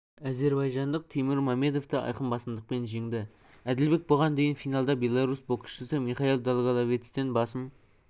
әзербайжандық теймур мамедовты айқын басымдықпен жеңді әділбек бұған дейін финалда беларусь боксшысы михаил долголевецтен басым